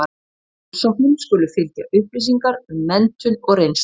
Með umsóknum skulu fylgja upplýsingar um menntun og reynslu.